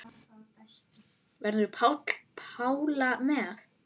Verður Pála með?